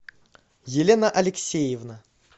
елена алексеевна